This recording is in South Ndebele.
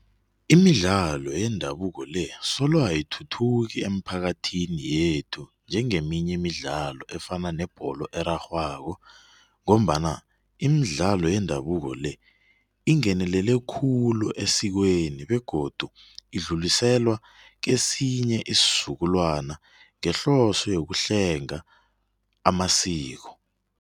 Imidlalo yendabuko le, solo ayithuthuki emphakathini yethu njengeminye imdlalo efana yebholo erarhwako ngombana imidlalo yendabuko le, ingenelele khulu esikweni begodu idluliselwa kesinye isizukulwana ngehloso nokuhlenga amasiko.